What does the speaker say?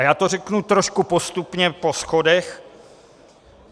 A já to řeknu trošku postupně po schodech.